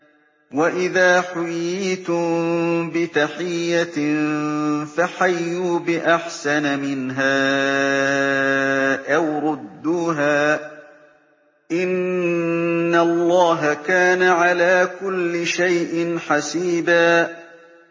وَإِذَا حُيِّيتُم بِتَحِيَّةٍ فَحَيُّوا بِأَحْسَنَ مِنْهَا أَوْ رُدُّوهَا ۗ إِنَّ اللَّهَ كَانَ عَلَىٰ كُلِّ شَيْءٍ حَسِيبًا